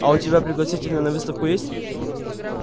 а у тебя пригласительные на выставку есть